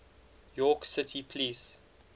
york city police